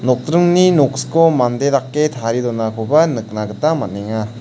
nokdringni noksiko mande dake tarie donakoba nikna gita man·enga.